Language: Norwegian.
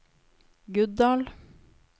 Guddal